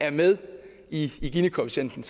er med i ginikoefficienten